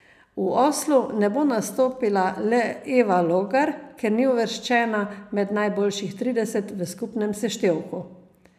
V Oslu ne bo nastopila le Eva Logar, ker ni uvrščena med najboljših trideset v skupnem seštevku.